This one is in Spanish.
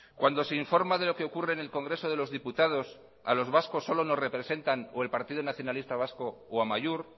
cuando se informa de lo que ocurre en el congreso de los diputados a los vascos solo nos representan o el partido nacionalista vasco o amaiur